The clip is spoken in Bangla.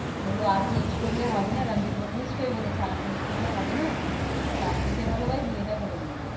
বললো আর change করলে হবে না। রানবীর বলেছে নিশ্চই বলেছে আর change করলে হবে না। তার থেকে ভালো ভাই বিয়েটা করে নেই।